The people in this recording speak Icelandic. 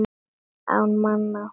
Án manna.